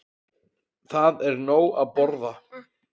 Það er nóg að borða.